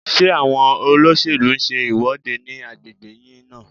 Ṣé àwọn olóṣèlú ń ṣe ìwọ́de ní agbègbè yín náà?